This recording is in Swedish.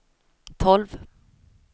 tolv